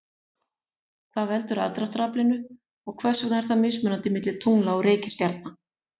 hvað veldur aðdráttaraflinu og hvers vegna er það mismunandi milli tungla og reikistjarna